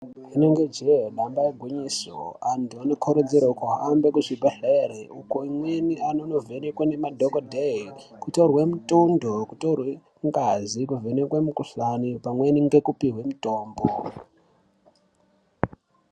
Rinenge jee damba igwinyiso antu anokurudzirwa kuhamba kuzvibhedhlera uko vamweni vanono vhenekwa nemadhokodheya kutorwe mutundo kutorwe ngazi kuvhenekwa mukuhlani pamweni ngekupihwe mutombo.